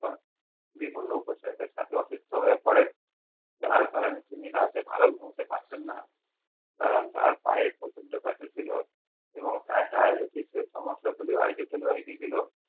বিভিন্ন উপসর্গের সাথে অসুস্থ হয়ে পড়েন। তার কারণ তিনি রাতে ভালো ঘুমোতে পারতেননা। কারণ তার পায়ে প্রচন্ড ব্যাথা ছিল এবং তার ডায়বেটিকসের সমস্যাগুলো